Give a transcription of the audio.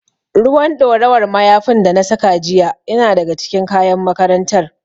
Ruwan ɗorawar mayafin da na saka jiya yana daga cikin kayan makarantar.